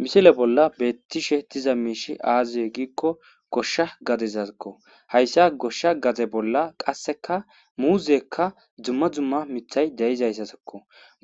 Misile bolla beettishe diza miishi aaziye giikko goshsha gadezaakko hayssa goshsha gaze bolla qasseka muuzekka dzumma dzumma mithay deyizayssasakko